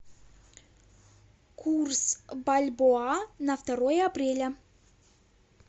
курс бальбоа на второе апреля